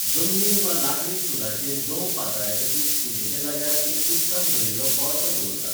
जमनीर वा लाकडी स्टूलाचेर गंव पातळायतकीच पुजेच्या जाग्यार एक उदकान भरिल्लो कोळसो दवरतात.